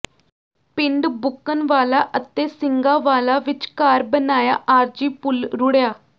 ਪਿੰਡ ਬੁੱਕਣ ਵਾਲਾ ਅਤੇ ਸਿੰਘਾਂਵਾਲਾ ਵਿਚਕਾਰ ਬਣਾਇਆ ਆਰਜ਼ੀ ਪੁਲ ਰੁੜਿਆ